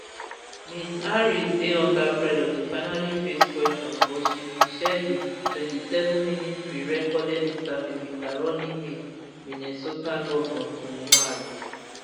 ms harris dey under pressure to finally face questions but she bin share di twenty-sevenminute prerecorded interview wit her running mate minnesota govnor tim walz